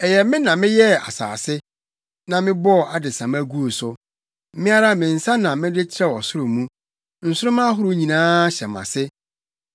Ɛyɛ me na meyɛɛ asase na mebɔɔ adesamma guu so. Me ara me nsa na mede trɛw ɔsoro mu; nsoromma ahorow nyinaa hyɛ mʼase.